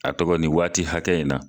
A tɔgɔ nin waati hakɛ in na.